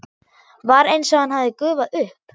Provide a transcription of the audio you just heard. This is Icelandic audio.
Var einsog hann hefði gufað upp.